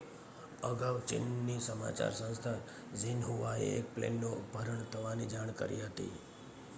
અગાઉ ચીનની સમાચાર સંસ્થા ઝીનહુઆએ એક પ્લેનનું અપહરણ થવાની જાણ કરી હતી